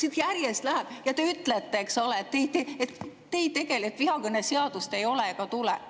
Siin järjest läheb ja te ütlete, et te ei tegele vihakõneseadusega, seda ei ole ega tule.